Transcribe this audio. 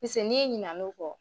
Pise n'i ɲinan'o kɔ